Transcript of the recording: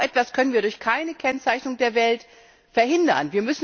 So etwas können wir durch keine Kennzeichnung der Welt verhindern.